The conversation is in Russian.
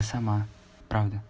сама правда